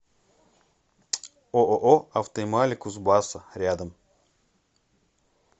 ооо автоэмали кузбасса рядом